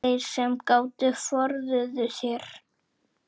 Þeir sem gátu forðuðu sér.